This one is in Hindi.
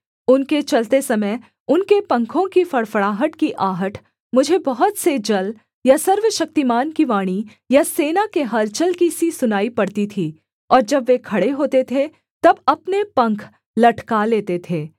उनके चलते समय उनके पंखों की फड़फड़ाहट की आहट मुझे बहुत से जल या सर्वशक्तिमान की वाणी या सेना के हलचल की सी सुनाई पड़ती थी और जब वे खड़े होते थे तब अपने पंख लटका लेते थे